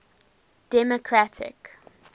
democratic